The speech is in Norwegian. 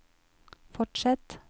fortsett